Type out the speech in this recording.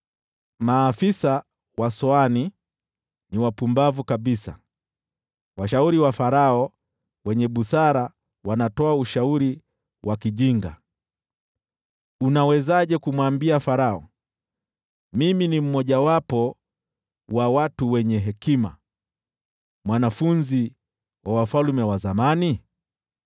Maafisa wa Soani ni wapumbavu kabisa, washauri wa Farao wenye busara wanatoa ushauri wa kijinga. Unawezaje kumwambia Farao, “Mimi ni mmojawapo wa watu wenye hekima, mwanafunzi wa wafalme wa zamani”?